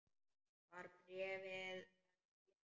Var bréfið ekki lengra?